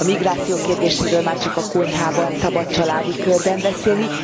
A migráció kérdéséről már csak a konyhában szabad családi körben beszélni.